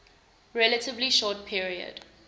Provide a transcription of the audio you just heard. relatively short period